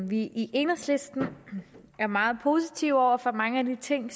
vi i enhedslisten er meget positive over for mange af de ting